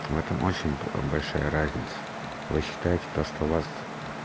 в этом очень большая разница вы считаете то что у вас